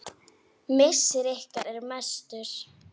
Missir ykkar er mestur.